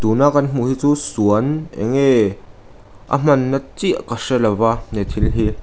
tuna kan hmuh hi chu suan eng nge a hmanna chiah ka hre lova he thil hi.